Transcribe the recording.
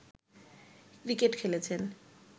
cricket খেলেছেন